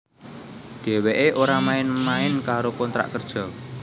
Dheweké ora main main karo kontrak kerja